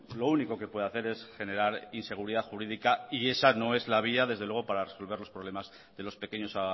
lo único que puede hacer es generar inseguridad jurídica esa no es la vía desde luego para resolver los problemas de los pequeños